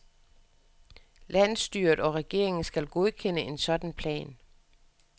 Landsstyret og regeringen skal godkende en sådan plan.